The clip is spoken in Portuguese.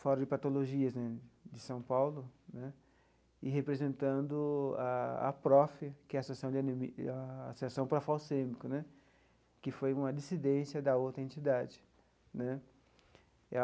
fórum de patologias né, de São Paulo né, e representando a APROFE, que é a de anemi a Associação Parafalcêmica né, que foi uma dissidência da outra entidade né.